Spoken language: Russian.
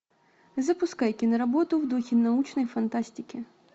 запускай киноработу в духе научной фантастики